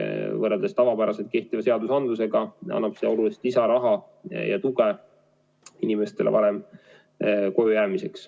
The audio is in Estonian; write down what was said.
Võrreldes tavapäraselt kehtiva seadusandlusega annab see olulist lisaraha ja tuge inimestele varem kojujäämiseks.